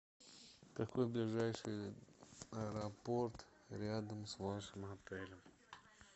какой ближайший аэропорт рядом с вашим отелем